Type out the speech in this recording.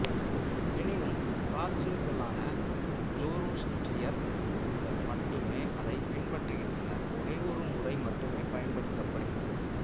எனினும் பார்சியர்களான ஜோரோஸ்ட்ரியர்கள் மட்டுமே அதை பின்பற்றுகின்றனர் ஒரே ஒரு முறை மட்டுமே பயன்படுத்தப்படுகிறது